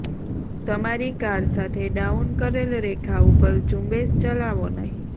તમારી કાર સાથે ડાઉન કરેલ રેખા ઉપર ઝુંબેશ ચલાવો નહીં